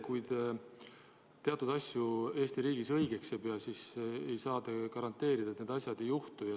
Kuigi te teatud asju Eesti riigis õigeks ei pea, ei saa te garanteerida, et need asjad ei juhtu.